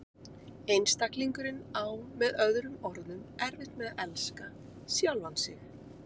Einstaklingurinn á með öðrum orðum erfitt með að elska sjálfan sig.